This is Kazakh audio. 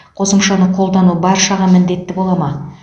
қосымшаны қолдану баршаға міндетті бола ма